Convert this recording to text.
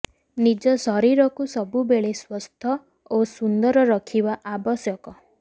ନିଜ ଶରୀରକୁ ସବୁବେଳେ ସୁସ୍ଥ ଓ ସୁନ୍ଦର ରଖିବା ଆବଶ୍ୟକ